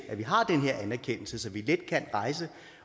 at vi har den her anerkendelse så vi let kan rejse